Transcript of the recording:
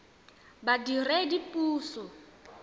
badiredipuso